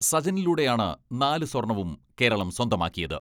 സജനിലൂടെയാണ് നാല് സ്വർണ്ണവും കേരളം സ്വന്തമാക്കിയത്.